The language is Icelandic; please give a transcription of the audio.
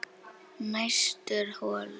Næstur holur